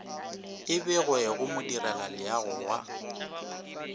e begwe go modirelaleago wa